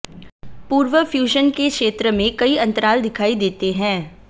पूर्व फ्यूजन के क्षेत्र में कई अंतराल दिखाई देते हैं